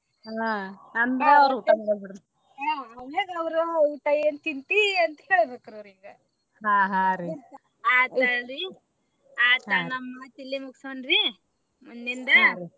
ಆಮ್ಯಾಗ ಅವ್ರ್ನ ಊಟಾ ಏನ ತಿಂತಿ ಅಂತ ಕೇಳ್ಬೇಕ್ರಿ ಆತ ಅಲ್ರಿ ಆತ ನಮ ಮಾತ ಇಲ್ಲೇ ಮುಗ್ಸೊಂನ್ರೀ ಮುಂದಿದ್ದ .